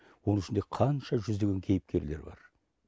оның ішінде қанша жүздеген кейіпкерлер бар